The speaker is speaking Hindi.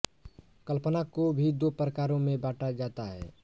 कल्पना को भी दो प्रकारों में बाँटा जाता है